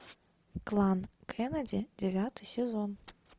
клан кеннеди девятый сезон